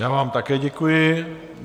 Já vám také děkuji.